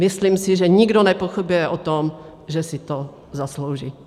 Myslím si, že nikdo nepochybuje o tom, že si to zaslouží.